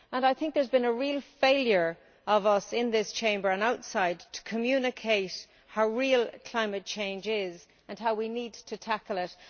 I think there has been a real failure by us in this Chamber and outside to communicate how real climate change is and how we need to tackle it.